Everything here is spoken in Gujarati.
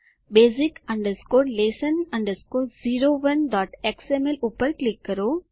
basic lesson 01xml ઉપર ક્લિક કરો